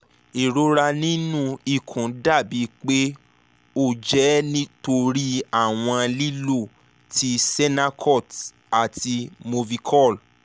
irora ninu ikun dabi pe o jẹ nitori iwọn lilo ti sennacot ati movicol